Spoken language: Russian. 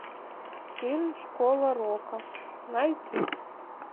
фильм школа рока найти